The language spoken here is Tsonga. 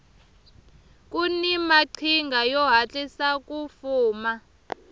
kuni maqhinga yo hatlisa ku fuma